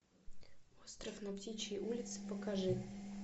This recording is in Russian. остров на птичьей улице покажи